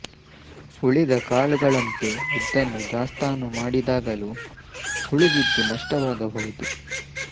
ಉಳಿದ ಕಾಳುಗಳಂತೆ ಉದ್ದನ್ನು ದಾಸ್ತಾನು ಮಾಡಿದಾಗಲೂ ಹುಳು ಬಿದ್ದು ನಷ್ಟವಾಗಬಹುದು